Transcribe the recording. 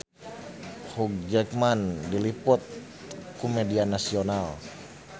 Hugh Jackman diliput ku media nasional